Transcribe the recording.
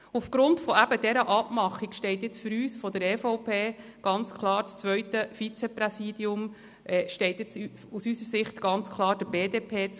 Aufgrund eben dieser Abmachung steht jetzt für uns von der EVP das zweite Vizepräsidium ganz klar der BDP zu.